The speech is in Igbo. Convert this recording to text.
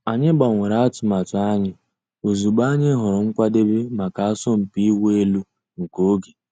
Ànyị̀ gbànwèrè àtùmàtù ànyị̀ òzịgbọ̀ ànyị̀ hụ̀rù nkwàdèbè mǎká àsọ̀mpị ị̀wụ̀ èlù nke ògè.